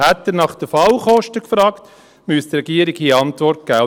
Hätte er nach den Fallkosten gefragt, müsste die Regierung hier Antwort geben.